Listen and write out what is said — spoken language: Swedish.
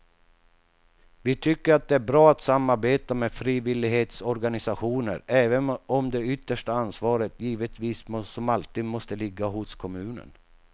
Vi tycker att det är bra att samarbeta med frivillighetsorganisationer även om det yttersta ansvaret givetvis som alltid måste ligga hos kommunen.